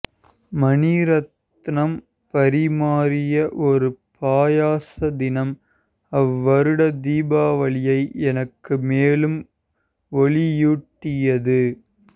மணி ரத்னம் பரிமாறிய ஒரு பாயாச தினம் அவ்வருட தீபாவளியை எனக்கு மேலும் ஒளியூட்டியது